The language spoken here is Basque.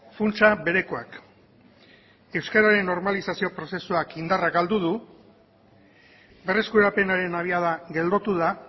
funtsa berekoak euskararen normalizazio prozesuak indarra galdu du berreskurapenaren abiada geldotu da